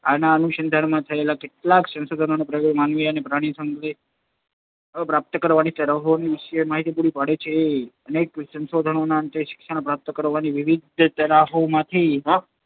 આના અનુસંધાનમાં થયેલા કેટલાંક સંશોધનો અને પ્રયોગો માનવી અને પ્રાણીની શિક્ષણ પ્રાપ્ત કરવાની તરાહો વિશેની માહિતી પૂરી પાડે છે. અનેકવિધ સંશોધનોને અંતે શિક્ષણ પ્રાપ્ત કરવાની વિવિધ તરાહોમાંથી